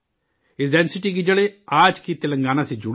اس سلطنت کی جڑیں آج کے تلنگانہ سے جڑی ہیں